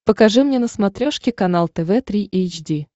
покажи мне на смотрешке канал тв три эйч ди